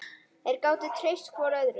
Þeir gátu treyst hvor öðrum.